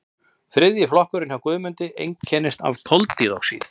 þriðji flokkurinn hjá guðmundi einkennist af koldíoxíði